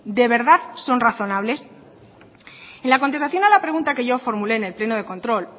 de verdad son razonables en la contestación a la pregunta que yo formulé en el pleno de control